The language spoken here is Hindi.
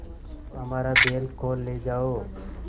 तो हमारा बैल खोल ले जाओ